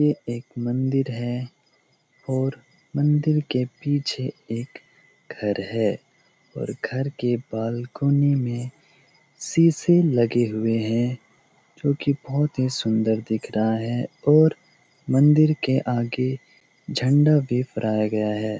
यह एक मंदिर है और मंदिर के पीछे एक घर है और घर के बालकोनी में शीशे लगे हुए हैं क्योंकि बहुत ही सुंदर दिख रहा है और मंदिर के आगे झंडा भी फैराया गया है।